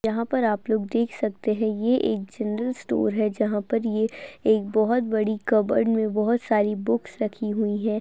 यहाँ पर आप लोग देख सकते है ये एक जनरल स्टोर है जहाँ पे ये एक बहुत बड़ी कप्बर्ड में बहुत सारी बुक्स रखी हुई हैं।